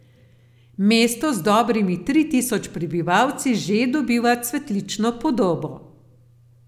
Mesto z dobrimi tri tisoč prebivalci že dobiva cvetlično podobo.